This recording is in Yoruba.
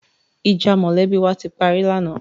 Ìjà mọ̀lẹ́bí wa ti parí lánàá.